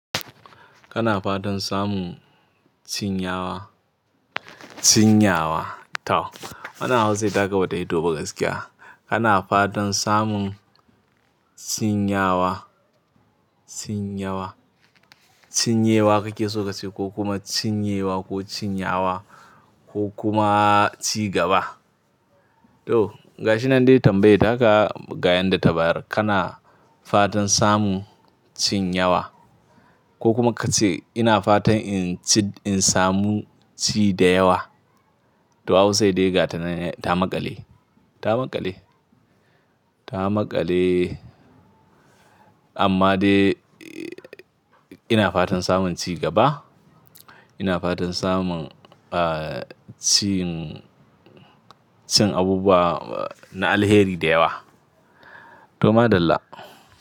Kana fatan samun cinyawa, cinyawa. Tau, wannan Hausar ta ka ba ta fi to ba gaskiya. Kana fatan samun cinyewa, cinyewa, cinyewa kake so ka ce ko kuma cinyewa ko cinyewa ko kuma ci gaba. To, ga shi nan dai tambayar ita ka, ga yanda tabayar, kana fatan samu cin yewa ko kuma ka ce ina fatan in ci, in samu ci da yawa. To Hausa dai gata nan, ta maƙale, ta maƙale, ta maƙale. Amma dai, ina fatan samun ci gaba. Ina fatan samun, ah, cin, cin abubuwa na alheri da yawa. To ma dalla.